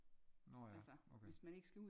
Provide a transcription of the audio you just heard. Nårh ja okay